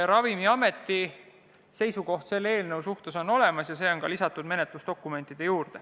Ravimiameti seisukoht on aga olemas ja see on lisatud menetlusdokumentide juurde.